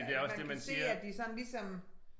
At man kan se at de sådan ligesom